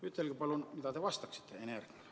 " Ütelge palun, mida te vastaksite Ene Ergmale.